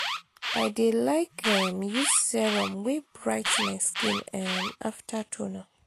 i dey like um use serum wey bright my skin um after toner.